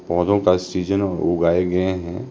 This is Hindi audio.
पौधों का सीजन उगाए गए हैं।